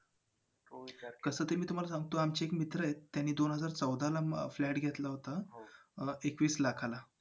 कसं ते मी तुम्हाला सांगतो. आमचे एक मित्र आहेत. दोन हजार चौदाला flat घेतला होता एकवीस लाखाला.